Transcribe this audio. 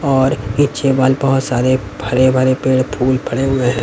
और पीछे वॉल बहुत सारे हरे भरे पेड़ फूल भरे हुए हैं।